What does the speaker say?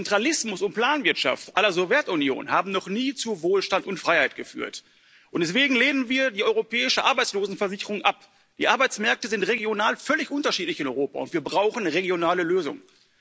Zentralismus und Planwirtschaft la Sowjetunion haben noch nie zu Wohlstand und Freiheit geführt, und deswegen lehnen wir die europäische Arbeitslosenversicherung ab. Die Arbeitsmärkte sind in Europa regional völlig unterschiedlich und wir brauchen regionale Lösungen.